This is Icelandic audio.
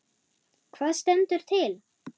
Hvað stendur til?